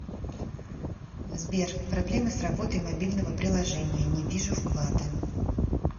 сбер проблемы с работой мобильного приложения не вижу вклады